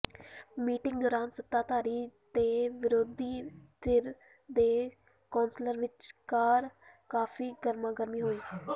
meeting ਦੌਰਾਨ ਸੱਤਾ ਧਾਰੀ ਤੇ ਵਿਰੋਧੀ ਧਿਰ ਦੇ ਕੌਂਸਲਰਾਂ ਵਿਚਕਾਰ ਕਾਫੀ ਗਰਮਾ ਗਰਮੀ ਹੋਈ